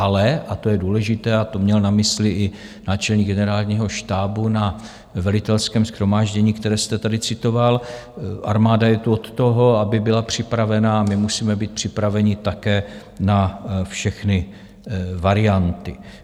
Ale - a to je důležité a to měl na mysli i náčelník generálního štábu na velitelském shromáždění, které jste tady citoval - armáda je tu od toho, aby byla připravena, my musíme být připraveni také na všechny varianty.